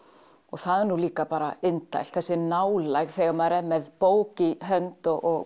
það er líka bara indælt þessi nálægð þegar maður er með bók í hönd og